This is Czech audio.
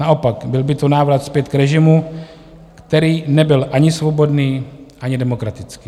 Naopak, byl by to návrat zpět k režimu, který nebyl ani svobodný, ani demokratický.